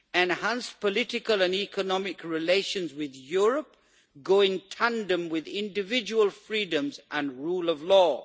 Enhanced political and economic relations with Europe go in tandem with individual freedoms and the rule of law.